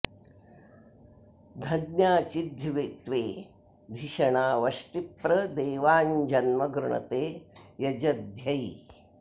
धन्या चिद्धि त्वे धिषणा वष्टि प्र देवाञ्जन्म गृणते यजध्यै